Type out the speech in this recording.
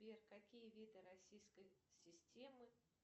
сбер какие виды российской системы